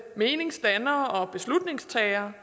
meningsdannere beslutningstagere